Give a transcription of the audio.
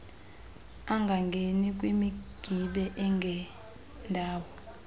angangeni kwimigibe engendawo